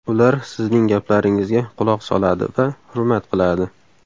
Ular sizning gaplaringizga quloq soladi va hurmat qiladi.